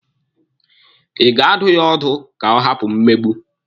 Ị ga-adụ ya ọdụ ka ọ hapụ mmegbu?